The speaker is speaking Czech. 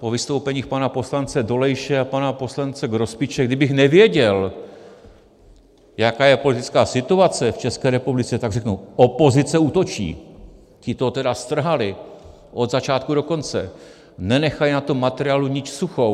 Po vystoupeních pana poslance Dolejše a pana poslance Grospiče, kdybych nevěděl, jaká je politická situace v České republice, tak řeknu: Opozice útočí, ti to tedy strhali od začátku do konce, nenechali na tom materiálu niť suchou.